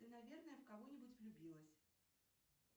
ты наверное в кого нибудь влюбилась